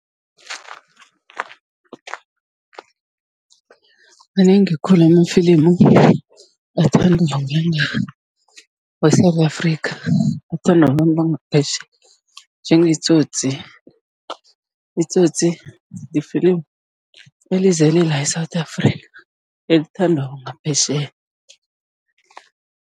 Manengi khulu amafilimu athandwa we-South Africa, athandwa babantu bangaphetjheya njengeTsotsi. ITsotsi lifilimu elizele la e-Southa Africa, elithandwako ngaphetjheya.